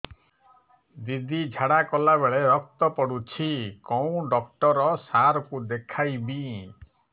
ଦିଦି ଝାଡ଼ା କଲା ବେଳେ ରକ୍ତ ପଡୁଛି କଉଁ ଡକ୍ଟର ସାର କୁ ଦଖାଇବି